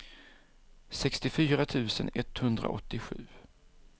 sextiofyra tusen etthundraåttiosju